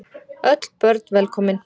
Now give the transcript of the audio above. Öll börn velkomin.